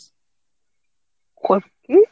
কি